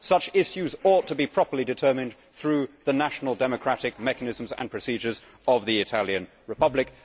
Such issues ought to be properly determined through the national democratic mechanisms and procedures of the Italian Republic.